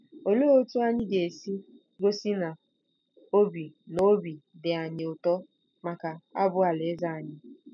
Olee otú anyị ga-esi gosi na obi na obi dị anyị ụtọ maka abụ Alaeze anyị?